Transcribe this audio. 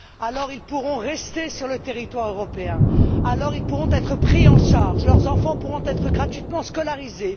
alors, ils pourront rester sur le territoire européen alors, ils pourront être pris en charge, leurs enfants pourront être gratuitement scolarisés